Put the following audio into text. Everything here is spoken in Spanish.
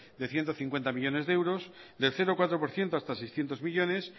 de ciento cincuenta millónes de euros de cero coma cuatro por ciento hasta seiscientos millónes